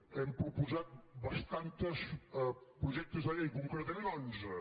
hem proposat bastants projectes de llei concretament onze